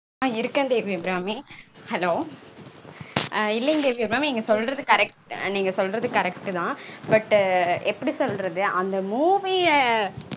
ஆஹ் இருக்கேன் தேவி அபிராமி. இல்லைங்க தேவி அபிராமி. நீங்க சொல்றது correct நீங்க சொல்றது correct -தா. But எப்படி சொல்றது. அந்த movie -ய